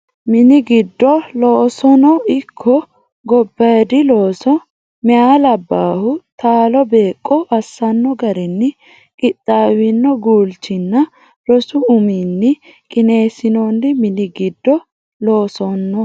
Mini giddo loosono ikko gobbaaydi looso meyaa labbaahu taalo beeqqo assanno garinni qixxaawino guulchinninna rosu ummanni qineessinoonni Mini giddo loosono.